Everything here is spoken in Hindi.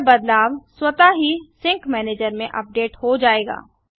यह बदलाव स्वतः ही सिंक मैनेजर में अपडेट हो जायेगा